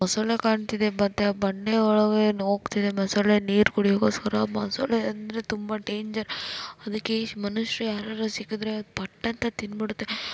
ಮೊಸಳೆ ಕಾಣ್ತಿದೆ ಮತ್ತೆ ಆ ಬಂಡೆ ಒಳಗೆ ಓಗ್ತಿದೆ ಮೊಸಳೆ ನೀರ್ ಕುಡಿಯೊಕೋಸ್ಕರ. ಮೊಸುಳೆ ಅಂದ್ರೆ ತುಂಬಾ ಡೇಂಜರ್ ಅದುಕ್ಕೆಈ ಮನುಶ್ರು ಯಾರಾದ್ರೂ ಸಿಕ್ಕಿದ್ರೆ ಅದ್ ಪಟ್ ಅಂತ ತಿಂದ್ಬಿಡತ್ತೆ.